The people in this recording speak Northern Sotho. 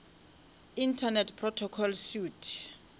internet protocol suite